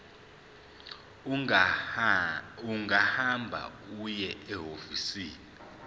ungahamba uye ehhovisi